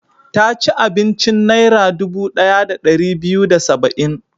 Ta ci abincin Naira dubu ɗaya da ɗari biyu da saba'in.